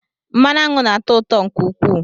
Mmanụ aṅụ na atọ ụtọ nke ukwuu